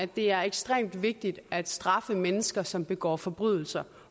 det er ekstremt vigtigt at straffe mennesker som begår forbrydelser